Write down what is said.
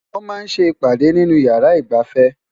wọ́n máa ń́ ṣe ìpàdè nínú ìyàrá ìgbafẹ́